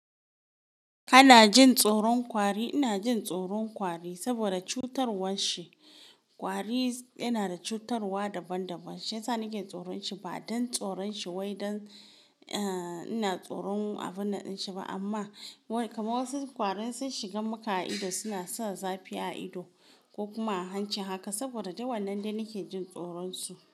Ana jin tsoron ƙwari. Ina jin tsoron ƙwari saboda cutarwan shi. Kwari yana da cutarwa daban-daban. Shiyasa nake tsoron shi ba don tsoron shi wai don, eh, ina tsoron abun nan din shi ba amma wai kamar wasu ƙwari in sun shiga maka a ido suna sa zafi a ido ko kuma a hanci haka saboda duk wannan dai nike jin tsoron su.